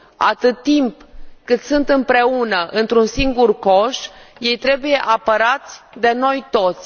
Atâta timp cât sunt împreună într un singur coș, ei trebuie apărați de noi toți.